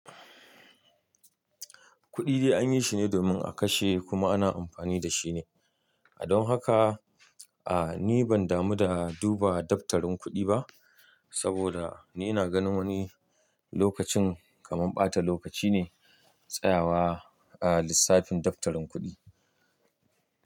Kuɗi dai an yi shine domin a kashe kuma ana amfani da shi ne. Don haka, a ni ban damu da duba daftarin kuɗi ba, saboda ni na ganin wani lokacin kamar ɓata lokaci ne tsayawa a lissafin daftarin kuɗi.